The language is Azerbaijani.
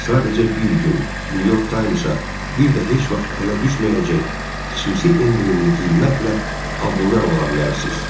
Sadəcə bir gün New York Times-a bir də heç vaxt ələ düşməyəcək xüsusi endirimli qiymətlə abunə ola bilərsiniz.